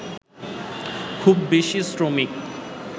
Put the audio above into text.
খুব বেশি শ্রমিক